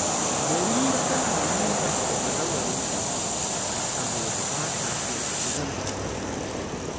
Barira tana nuna wa bazawarinta so, saboda ba ta so ta ji ransa ya ɓaci.